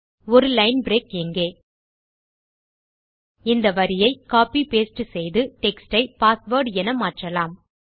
ஒரு line break இங்கே இந்த வரியை copy பாஸ்டே செய்து டெக்ஸ்ட் ஐ பாஸ்வேர்ட் என மாற்றலாம்